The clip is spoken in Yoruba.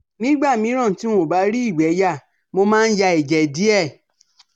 Nígbà míràn tí n ò bá rí ìgbé yà, mo máa ń ya ẹ̀jẹ̀ díẹ̀